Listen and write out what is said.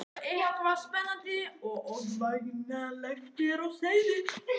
Eitthvað spennandi og ógnvænlegt er á seyði.